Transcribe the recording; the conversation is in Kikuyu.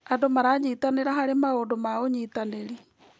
Andũ maranyitanĩra harĩ maũndũ ma ũnyitanĩri.